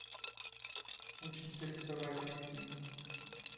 учимся рисовать найти